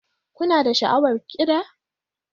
Kuna da sha'awar kiɗa?